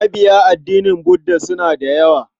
Mabiya addinin Budda suna da yawa.